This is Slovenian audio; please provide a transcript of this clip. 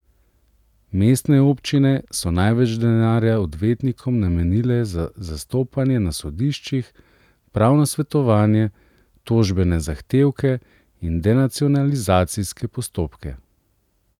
Mestne občine so največ denarja odvetnikom namenile za zastopanje na sodiščih, pravno svetovanje, tožbene zahtevke in denacionalizacijske postopke.